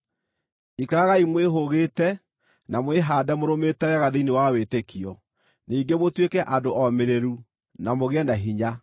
Ikaragai mwĩhũgĩte, na mwĩhaande mũrũmĩte wega thĩinĩ wa wĩtĩkio; ningĩ mũtuĩke andũ omĩrĩru; na mũgĩe na hinya.